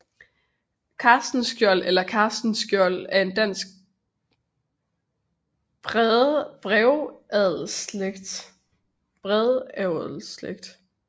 Castenschiold eller Castenskiold er en dansk brevadelsslægt